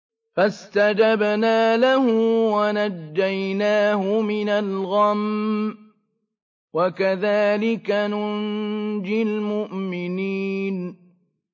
فَاسْتَجَبْنَا لَهُ وَنَجَّيْنَاهُ مِنَ الْغَمِّ ۚ وَكَذَٰلِكَ نُنجِي الْمُؤْمِنِينَ